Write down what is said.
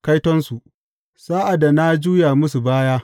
Kaitonsu sa’ad da na juya musu baya!